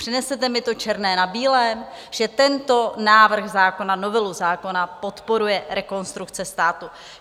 Přinesete mi to černé na bílém, že tento návrh zákona, novelu zákona, podporuje Rekonstrukce státu?